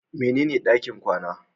Mene ne ɗakin kwana?